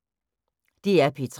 DR P3